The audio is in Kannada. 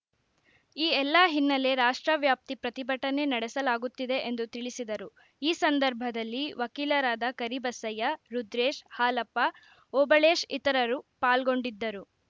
ಈ ಎಲ್ಲ ಹಿನ್ನೆಲೆ ರಾಷ್ಟ್ರವ್ಯಾಪ್ತಿ ಪ್ರತಿಭಟನೆ ನಡೆಸಲಾಗುತ್ತಿದೆ ಎಂದು ತಿಳಿಸಿದರು ಈ ಸಂದರ್ಭದಲ್ಲಿ ವಕೀಲರಾದ ಕರಿಬಸಯ್ಯ ರುದ್ರೇಶ್‌ ಹಾಲಪ್ಪ ಓಬಳೇಶ್‌ ಇತರರು ಪಾಲ್ಗೊಂಡಿದ್ದರು